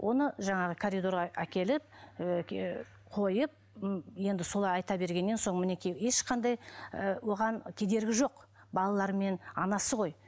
оны жаңағы коридорға әкеліп ыыы қойып енді солай айта бергеннен соң мінекей ешқандай оған кедергі жоқ балалары мен анасы ғой